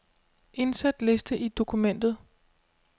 Indsæt liste i dokumentet.